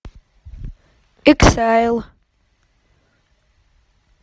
иксайл